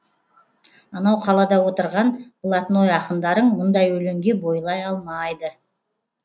анау қалада отырған блатной ақындарың бұндай өлеңге бойлай алмайды